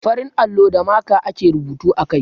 Farin allo da maka (marker) ake rubutu a kai.